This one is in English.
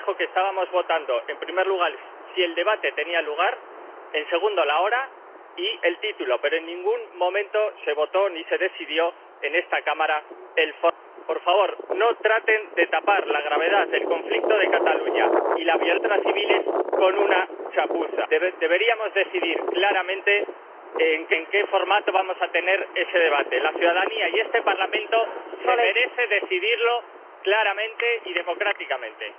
Ms Berès, to show solidarity with Vice President Wieland, I have never found him discourteous, but I take note of your comment. I will perhaps bring it to the Bureau and we could look at this issue because I also get criticism when I am very strict with time. My one observation is that yesterday I did not use the gavel during one debate, as an experiment, and it actually worked very well. But we take note of your comment.